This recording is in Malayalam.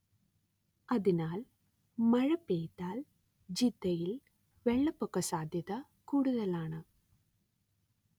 അതിനാൽ മഴ പെയ്താൽ ജിദ്ദയിൽ വെള്ളപ്പൊക്ക സാധ്യത കൂടുതലാണ്